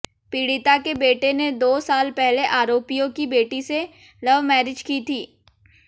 पीड़िता के बेटे ने दो साल पहले आरोपियों की बेटी से लव मैरिज की थी